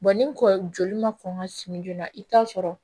ni kɔ joli ma kɔn ka simi joona i bi taa sɔrɔ